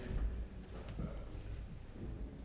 og